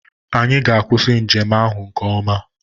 Anyị ga-akwụsị njem ahụ nke ọma.